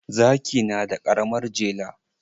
Zaki na da karamar jele.